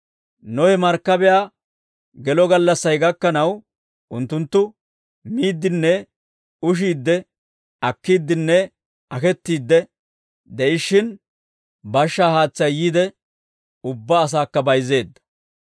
Nohe markkabiyaa gelo gallassay gakkanaw unttunttu, miiddinne ushiidde, akkiiddinne akettiidde de'ishshin, bashshaa haatsay yiide ubbaa asaakka bayizzeedda.